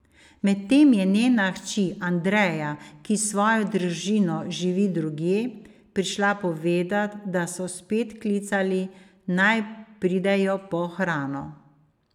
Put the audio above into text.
Medtem je njena hči Andreja, ki s svojo družino živi drugje, prišla povedat, da so spet klicali, naj pridejo po hrano.